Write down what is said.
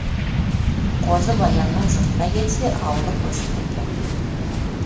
қозы баянның жұртына келсе аулы көшіп кеткен